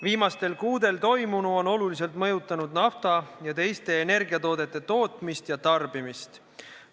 Viimastel kuudel toimunu on oluliselt mõjutanud nafta ja teiste energiatoodete tootmist ja tarbimist.